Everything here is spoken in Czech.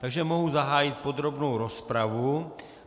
Takže mohu zahájit podrobnou rozpravu.